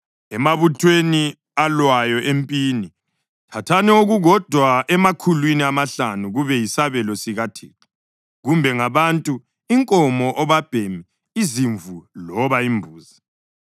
Emabuthweni alwayo empini, thathani okukodwa emakhulwini amahlanu kube yisabelo sikaThixo, kumbe ngabantu, inkomo, obabhemi, izimvu loba imbuzi.